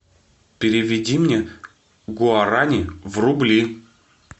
переведи мне гуарани в рубли